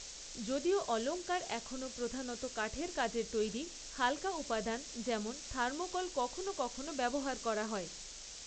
যদিও অলঙ্কার এখনও প্রধানত কাঠের কাজের তৈরি, হাল্কা উপাদান যেমন থার্মোকল কখনও কখনও ব্যবহার করা হয়।